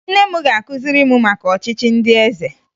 Nne m ga-akụziri m maka ọchịchị ndị eze